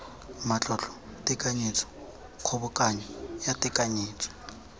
matlotlo tekanyetso kgobokanyo ya tekanyetso